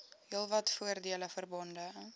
heelwat voordele verbonde